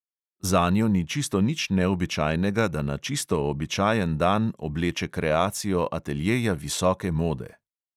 Zanjo ni čisto nič neobičajnega, da na čisto običajen dan obleče kreacijo ateljeja visoke mode ...